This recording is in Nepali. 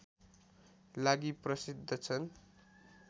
लागि प्रसिद्ध छन्